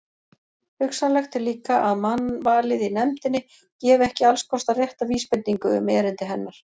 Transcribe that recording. Hugsanlegt er líka, að mannvalið í nefndinni gefi ekki allskostar rétta vísbendingu um erindi hennar.